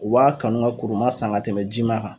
U b'a kanu ka kuruma san ka tɛmɛ jima kan.